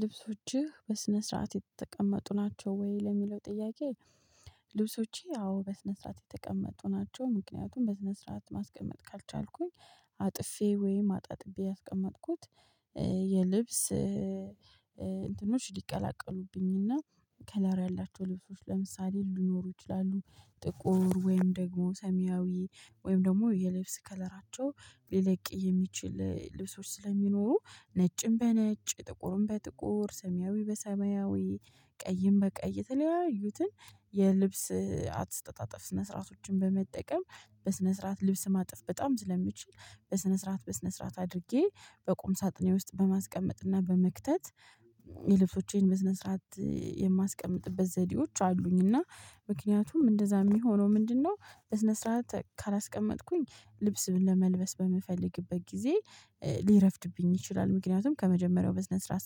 ልብሶችህ በስነ ስርዓት የተቀመጡ ናቸው ወይ ለሚለው ጥያቄ? ልብሶቼ አዎ በስነ ስርዓት የተቀመጡ ናቸው። ምክንያቱም በስነ ስርዓት ማስቀመጥ ካልቻልኩኝ። አጥፌ ወይም አጣጥቤ ያስቀመጥኩት የልብስ እንትኖች ሊቀላቀሉብኝና ከለር ያላቸው ልብሶች ለምሳሌ ሊኖሩ ይችላሉ። ጥቁር ወይም ደግሞ ሰሚያዊ ወይም ደግሞ የልብስ ከለራቸው ሊለቅ የሚችል ልብሶች ስለሚኖሩ ነጭም በነጭ ጥቁሩን በጥቁር ሰማያዊ በሰማያዊ ቀይን በቀይ የተለያዩትን የልብስ አትስጠጣጥፍ ስነ ስርዓቶችን በመጠቀም በስነ ስርዓት ልብስ ማጥፍ በጣም ስለምችል። በስነ ስርዓት በስነ ስርዓት አድርጌ በቁም ሳጥኔ ውስጥ በማስቀመጥና በመክተት የልብሶቼን መስነ ስርዓት የማስቀምጥበት ዘዴዎች አሉኝና። ምክንያቱም እንደዛ የሚሆነው ምንድነው? በስነ ስርዓት ካላስቀመጥኩኝ ልብስም ለመልበስ በምፈልግበት ጊዜ ሊረፍድብኝ ይችላል ምክንያቱም ከመጀመሪያው ቢስነስ ራስ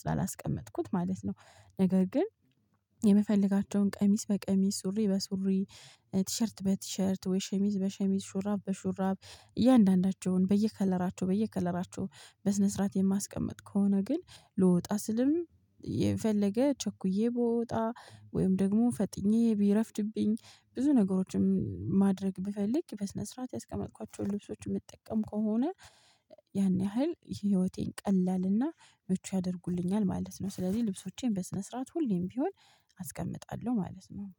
ስላላስቀመጥኩት ማለት ነው። ነገር ግን። የምፈልጋቸውን ቀሚስ በቀሚስ ሱሪ በሱሪ ቲሸርት በቲሸርት ወይ ሸሚዝ በሸሚዝ ሹራብ በሹራብ እያንዳንዳቸውን በየከለራቸው በየከለራቸው በስነ ስርዓት የማስቀምጥ ከሆነ ግን ልወጣ ስልም የፈለገ ቸኩዬ ብወጣ ወይም ደግሞ ፈጥኜ ቢረፍጭብኝ ብዙ ነገሮችን ማድረግ ብፈልግ በስነ ስርዓት ያስቀመጥኳቸውን ልብሶችን የምትጠቀም ከሆነ። ያን ያህል የህይወቴን ቀላልና መቼ ያደርጉልኛል ማለት ነው። ስለዚህ ልብሶቼን በስነ ስርዓት ሁሌም ቢሆን አስቀምጣለሁ ማለት ነው